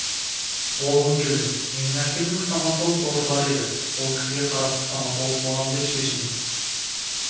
болғым келді менің әкемнің стоматолог досы бар еді сол кісіге қарап стоматолог боламын деп шешім